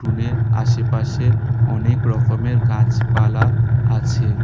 উঠুনের আশেপাশে অনেক রকমের গাছপালা আছে।